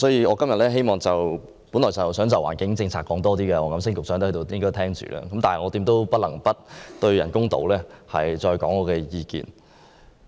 我今天本來想就環境政策發言，因為黃錦星局長在席，我想他聽聽，但現在我不得不再就人工島發表意見。